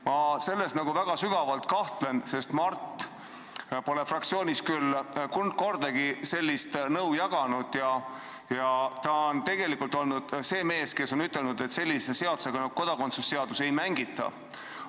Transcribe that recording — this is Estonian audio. Ma selles nagu väga sügavalt kahtlen, sest Mart ei jaganud fraktsioonis küll kordagi sellist nõu ja ta tegelikult oli see mees, kes ütles, et sellise seadusega nagu kodakondsuse seadus ei mängita.